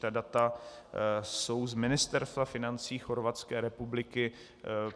Ta data jsou z Ministerstva financí Chorvatské republiky.